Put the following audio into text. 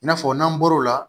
I n'a fɔ n'an bɔro la